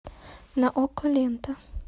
на окко лента